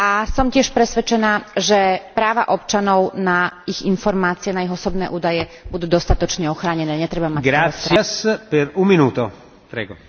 Som tiež presvedčená, že práva občanov na informácie, na ich osobné údaje budú dostatočne ochránené. Netreba mať z toho strach.